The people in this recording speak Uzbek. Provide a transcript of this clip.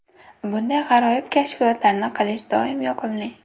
Bunday g‘aroyib kashfiyotlarni qilish doim yoqimli.